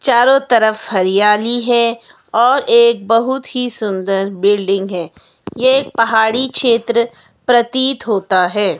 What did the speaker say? चारों तरफ हरियाली है और एक बहुत ही सुंदर बिल्डिंग है ये एक पहाड़ी क्षेत्र प्रतीत होता है।